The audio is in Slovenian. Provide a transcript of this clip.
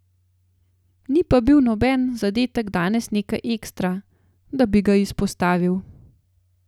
Ni pa bil noben zadetek danes nekaj ekstra, da bi ga izpostavil.